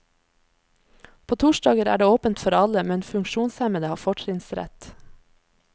På torsdager er det åpent for alle, men funksjonshemmede har fortrinnsrett.